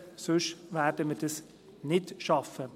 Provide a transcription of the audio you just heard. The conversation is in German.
Sonst werden wir dies nicht schaffen.